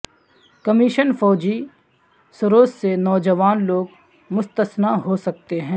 commission فوجی service سے نوجوان لوگ مستثنی ہو سکتے ہیں